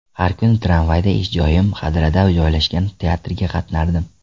Har kuni tramvayda ish joyim, Hadrada joylashgan teatrga qatnardim.